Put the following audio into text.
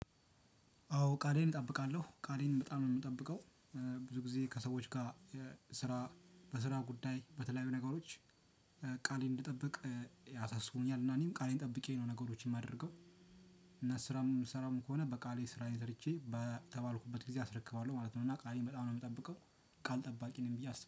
አዎ ቃሌን እጠብቃለሁ። ቃሌን በጣም ነው የምጠብቀው። ብዙ ጊዜ ከሰዎች ጋር ስራ በስራ ጉዳይ በተለያዩ ነገሮች ቃሌን እንድጠብቅ ያሳስበኛል እና እኔም ቃሌን ጠብቄ ነው ነገሮችን ማድረገው። እና ስራም የምሰራም ከሆነ በቃሌ ስራን ሰርቼ በተባልኩበት ጊዜ አስረክባለሁ ማለት ነው። እና ቃሌን በጣም ነው የምጠብቀው። ቃል ጠባቂ ነኝ ብዬ አስባለሁ።